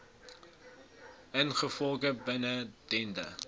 ingevolge bin dende